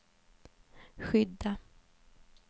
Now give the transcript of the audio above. skydda